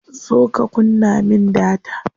Zo ka kunna min data.